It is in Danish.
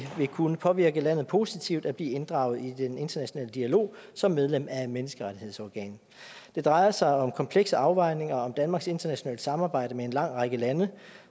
vil kunne påvirke landet positivt at blive inddraget i den internationale dialog som medlem af et menneskerettighedsorgan det drejer sig om komplekse afvejninger om danmarks internationale samarbejde med en lang række lande